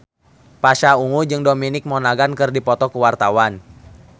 Pasha Ungu jeung Dominic Monaghan keur dipoto ku wartawan